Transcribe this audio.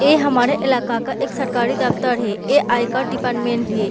ए हमारे इलाका का एक सरकारी दफ्तर है ए आयकर डिपार्टमेंट है।